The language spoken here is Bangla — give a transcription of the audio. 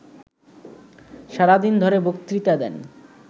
সারাদিন ধরে বক্তৃতা দেন